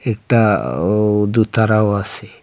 একটা ও দুতারাও আসে ।